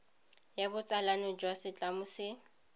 ya botsalano jwa setlamo se